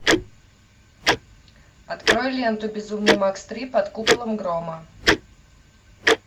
открой ленту безумный макс три под куполом грома